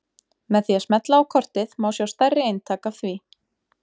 Með því að smella á kortið má sjá stærri eintak af því.